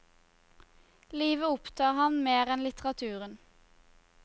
Livet opptar ham mer enn litteraturen.